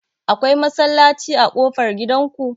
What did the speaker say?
Akwai masallaci a ƙofar gidan ku?